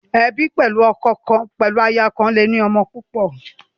Ebi pẹlu aya kan ati ọkọ kọn le ni ọmọ púpọ.